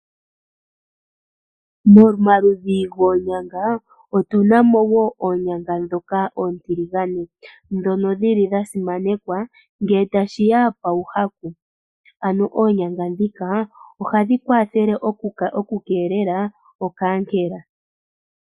Momaludhi goonyanga otunamo woo oonyanga dhoka oontiligane, dhono dhili dha simanekwa ngee tashiya pawu hapu, ano oonyanga dhika ohadhi kwathele oku keelela okankela.